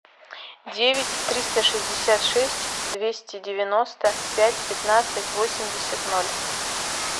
девять триста шестьдесят шесть двести девяносто пять пятнадцать восемьдесят ноль